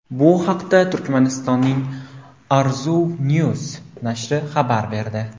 Bu haqda Turkmanistonning Arzuw News nashri xabar berdi .